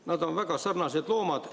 Nad on väga sarnased loomad.